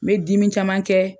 N bɛ dimi caman kɛ.